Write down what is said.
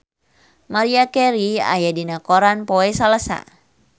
Maria Carey aya dina koran poe Salasa